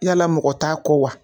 Yaala mɔgɔ t'a kɔ wa?